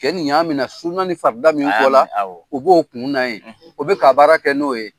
Cɛ nin y'a mina ni suuna ni farida min fɔ la. A y'a minɛ ,awɔ? b'o kunna ye, o be ka baara kɛ n'o ye.